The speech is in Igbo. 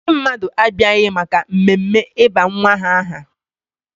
Ndị mmadụ abịaghị maka mmemme ịba nwa ha aha.